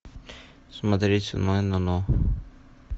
смотреть онлайн оно